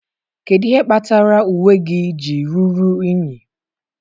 Kedu ihe kpatara uwe gị ji ruru unyi?